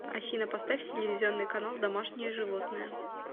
афина поставь телевизионный канал домашние животные